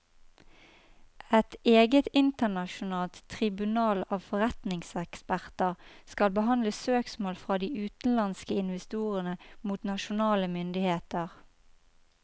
Et eget internasjonalt tribunal av forretningseksperter skal behandle søksmål fra de utenlandske investorene mot nasjonale myndigheter.